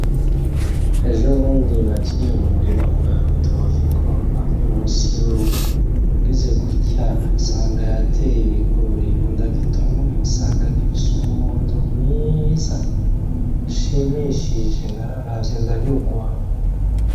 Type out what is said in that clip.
Ejo bundi naciye mu murima kwa Rudoviko hamwe munsi yurugo ngize gutya nsanga yateye ibigori ngo ndagitonore nsanga gifise umuhondo mwiza ushimishije nararavye ndanyugwa.